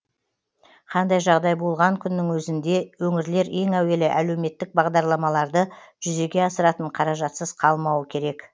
қандай жағдай болған күннің өзінде өңірлер ең әуелі әлеуметтік бағдарламаларды жүзеге асыратын қаражатсыз қалмауы керек